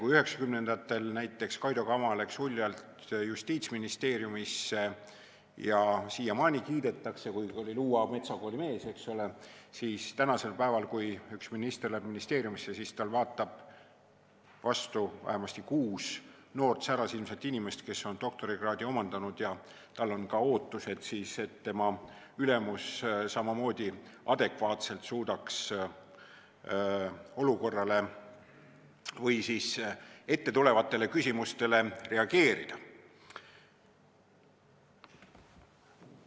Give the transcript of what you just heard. Kui üheksakümnendatel näiteks Kaido Kama läks uljalt Justiitsministeeriumisse ja siiamaani teda kiidetakse, kuigi ta oli Luua metsakooli mees, siis tänasel päeval, kui minister läheb ministeeriumisse, siis vaatab talle vastu vähemasti kuus noort särasilmset inimest, kes on doktorikraadi omandanud ja kellel on ka ootus, et ülemus suudaks olukorrale või ettetulevatele küsimustele adekvaatselt reageerida.